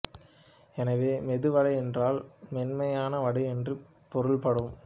எனவே மெது வடை என்றால் மென்மையான வடை என்று பொருள்படும்